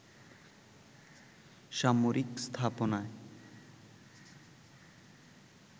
সামরিক স্থাপনায়